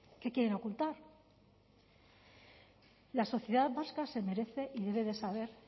qué quieren ocultar la sociedad vasca se merece y debe de saber